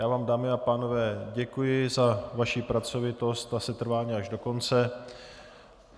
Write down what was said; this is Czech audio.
Já vám, dámy a pánové, děkuji za vaši pracovitost a setrvání až do konce.